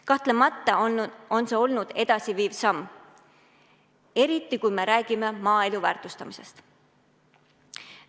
Kahtlemata on see olnud edasiviiv samm, eriti kui räägime maaelu väärtustamisest.